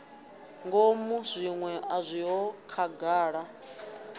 ngomu zwiṅwe a zwiho khagala